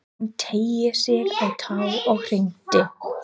Hún teygði sig á tá og hringdi.